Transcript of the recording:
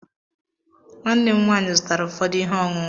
Nwanne m nwaanyị zụtara ụfọdụ ihe ọṅụṅụ